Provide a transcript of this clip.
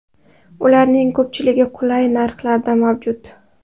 Ularning ko‘pchiligi qulay narxlarda mavjud.